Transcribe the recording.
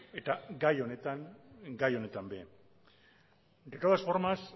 eta gai honetan gai honetan ere de todas formas